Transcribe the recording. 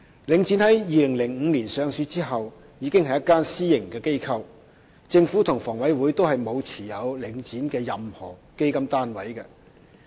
領展於2005年上市後，已是一間私營機構，政府及房委會並沒有持有領展的任何基金單位。